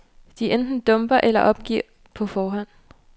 De enten dumper eller opgiver på forhånd.